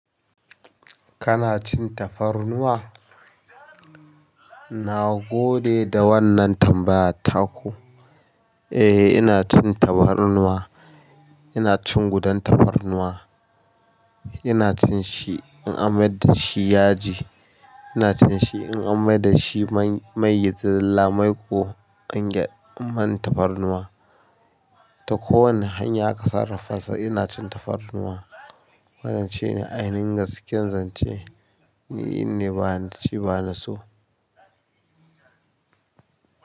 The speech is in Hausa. Kana cin tafarnuwa? Nagode da wannan tambaya taku. Eh, ina cin tahwarnuwa. Ina cin gudan tahwarnuwa. Ina cin shi in an mai da shi yaji. Ina cin shi in an mai da shi mai mai da zallamai ko an gya man tafarnuwa. Ta kowane hanya aka sarrafa sa ina cin tafarnuwa. Wannan shine ainihin gaskiyan zance. Ni inne ba na ci, ba na so.